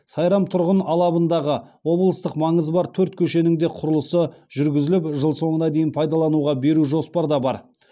сайрам тұрғын алабындағы облыстық маңызы бар төрт көшенің де құрылысы жүргізіліп жыл соңына дейін пайдалануға беру жоспарда бар